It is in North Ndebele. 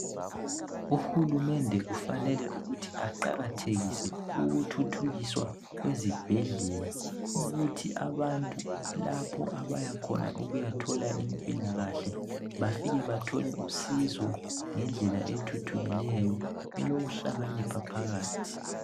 Uhulumende kufanele ukuthi aqakathekise ukuthuthukiswa kwezibhadlela ukuthi abantu lapho abayakhona ukuyathola impilakahle bafike bathole usizo ngendlela ethuthukileyo elokuhlakanipha phakathi.